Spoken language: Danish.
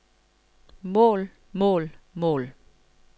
mål mål mål